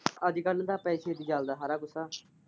ਅੱਜ ਕੱਲ ਤਾਂ ਪੈਸੇ ਚ ਹੀ ਚੱਲਦਾ ਸਾਰਾ ਕੁੱਝ।